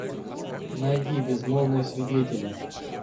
найди безмолвные свидетели